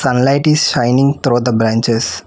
light is shining throughout the branches.